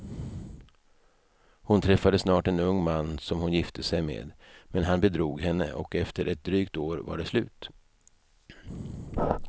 Hon träffade snart en ung man som hon gifte sig med, men han bedrog henne och efter ett drygt år var det slut.